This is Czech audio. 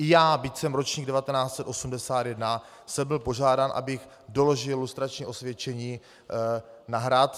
I já, byť jsem ročník 1981, jsem byl požádán, abych doložil lustrační osvědčení na Hrad.